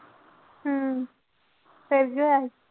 ਹਮ ਫਿਰ ਕੀ ਹੋਇਆ?